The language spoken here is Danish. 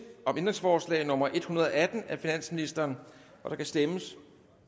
om ændringsforslag nummer en hundrede og atten af finansministeren der kan stemmes